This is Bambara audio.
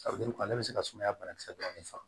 ale bɛ se ka sumaya banakisɛ dɔɔnin faga